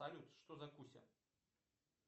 салют что за куся